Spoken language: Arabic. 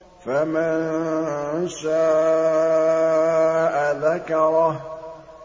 فَمَن شَاءَ ذَكَرَهُ